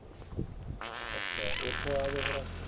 ਅਚਾ ਯੇਹ ਆਯ ਤੋ ਐਫ. ਆਈ. ਆਰ